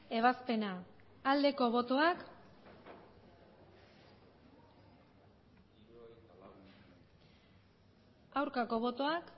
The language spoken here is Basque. ebazpena aldeko botoak aurkako botoak